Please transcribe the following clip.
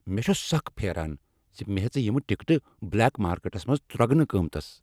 مےٚ چھُ سخ پھیران ز مےٚ ہیژٕ یم ٹکٹہٕ بلیک مارکیٹس منٛز ترگنہٕ قۭمتس۔